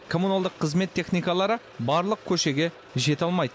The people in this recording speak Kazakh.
коммуналдық қызмет техникалалары барлық көшеге жете алмайды